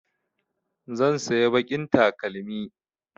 Zan saya baƙin takalmi